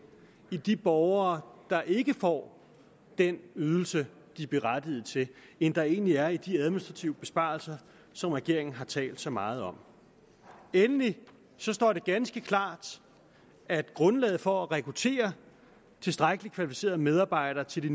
i de borgere der ikke får den ydelse de er berettiget til end der egentlig er i de administrative besparelser som regeringen har talt så meget om endelig står det ganske klart at grundlaget for at rekruttere tilstrækkeligt kvalificerede medarbejdere til de